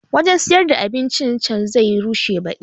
Wanjan siyar da abincin can zai rushe baɗi